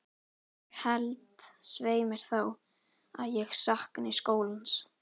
Ég held, svei mér þá, að ég sakni skólans.